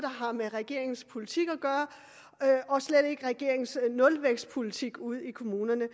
med regeringens politik og slet ikke med regeringens nulvækstpolitik ude i kommunerne